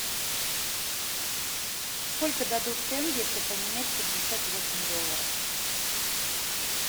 сколько дадут тенге если поменять пятьдесят восемь долларов